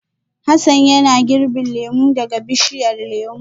Hassan yana girbin lemu daga bishiyar lemu